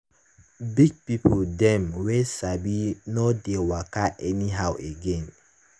big pipo dem wey sabi nor dey waka anyhow again.